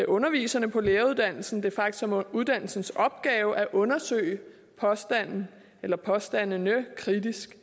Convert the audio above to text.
underviserne på læreruddannelsen det faktisk som uddannelsens opgave at undersøge påstanden eller påstandene kritisk